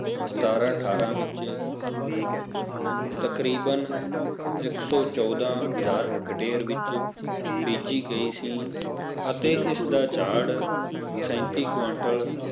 ਸਤਾਰਾਂ ਅਠਾਰਾਂ ਵਿਚ ਤਕਰੀਬਨ ਇੱਕ ਸੌ ਚੌਦਾਂ ਹਜ਼ਾਰ ਹੱਕਤਾਯੇਰ ਵਿਚ ਬੀਜੀ ਗਈ ਸੀ ਅਤੇ ਇਸ ਦਾ ਝਾੜ ਸੈਂਤੀ ਕਵੰਤਲ,